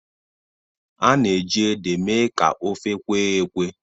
A na-eji ede mee ka ofe kwee ekwẹ́.